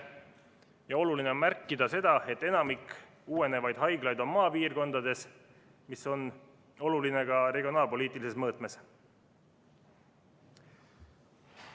Ja oluline on märkida seda, et enamik uuenevaid haiglaid on maapiirkondades, mis on oluline ka regionaalpoliitilises mõõtmes.